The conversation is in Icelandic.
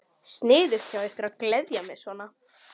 Sniðugt hjá ykkur að gleðja mig svona.